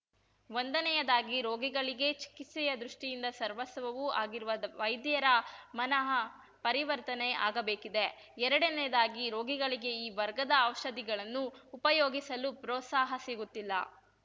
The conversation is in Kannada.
ಒಂದನೆಯದಾಗಿ ರೋಗಿಗಳಿಗೆ ಚಿಕಿತ್ಸೆಯ ದೃಷ್ಟಿಯಿಂದ ಸರ್ವಸ್ವವೂ ಆಗಿರುವ ವೈದ್ಯರ ಮನಃಪರಿವರ್ತನೆ ಆಗಬೇಕಿದೆ ಎರಡನೆಯದಾಗಿ ರೋಗಿಗಳಿಗೆ ಈ ವರ್ಗದ ಔಷಧಿಗಳನ್ನು ಉಪಯೋಗಿಸಲು ಪ್ರೋತ್ಸಾಹ ಸಿಗುತ್ತಿಲ್ಲ